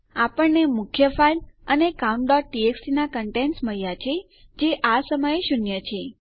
આપણને આપણી મુખ્ય ફાઈલ મળી છે અને તે આપણી countટીએક્સટી ના કન્ટેન્ટસ મળ્યા છે જે આ સમયે શૂન્ય છે